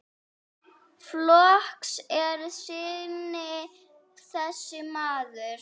Flokks er sinni þessi maður.